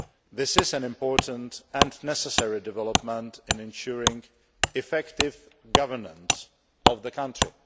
This is an important and necessary development in ensuring effective governance of the country.